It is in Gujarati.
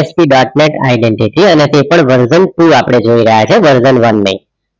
ASPdotnet identity અને કોઈ પણ version through જોઈ રહ્યા છે version one ને